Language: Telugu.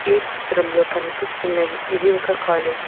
ఈ చిత్రంలో కనిపిస్తున్నది ఇది ఒక కాలేజ్ .